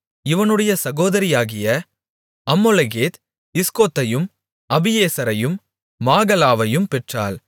இவனுடைய சகோதரியாகிய அம்மொளெகேத் இஸ்கோதையும் அபியேசரையும் மாகலாவையும் பெற்றாள்